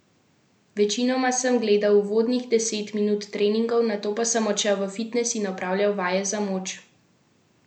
Večinoma sem gledal uvodnih deset minut treningov, nato pa sem odšel v fitnes in opravljal vaje za moč ter vzdržljivost.